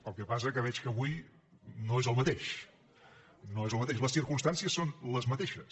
el que passa que veig que avui no és el mateix no és el mateix les circumstàncies són les mateixes